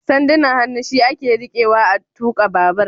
Sandunan hannu shi ake rikewa a tuka babur